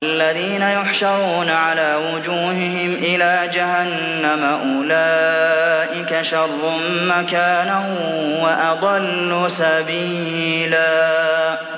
الَّذِينَ يُحْشَرُونَ عَلَىٰ وُجُوهِهِمْ إِلَىٰ جَهَنَّمَ أُولَٰئِكَ شَرٌّ مَّكَانًا وَأَضَلُّ سَبِيلًا